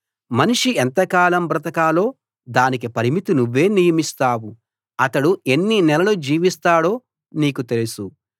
మనిషి ఎంతకాలం బ్రతకాలో దానికి పరిమితి నువ్వే నియమిస్తావు అతడు ఎన్ని నెలలు జీవిస్తాడో నీకు తెలుసు